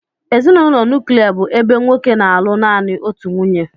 Ezinụlọ nuklia bụ ebe nwoke na-alụ naanị otu nwunye